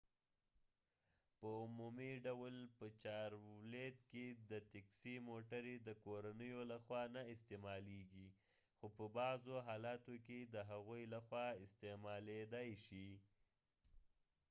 په عمومي ډول په چارولیت کې د تیکسي موټرې د کورنیو لخوا نه استعمالیږي خو په بعضوحالاتو کې د هغوی لخوا استعمالیدای شي